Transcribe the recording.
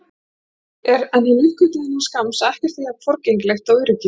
En hann uppgötvaði innan skamms að ekkert er jafn forgengilegt og öryggið.